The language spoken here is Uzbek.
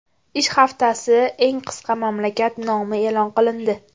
Ish haftasi eng qisqa mamlakat nomi e’lon qilindi.